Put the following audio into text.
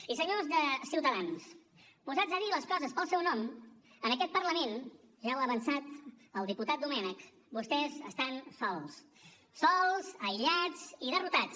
i senyors de ciutadans posats a dir les coses pel seu nom en aquest parlament ja ho ha avançat el diputat domènech vostès estan sols sols aïllats i derrotats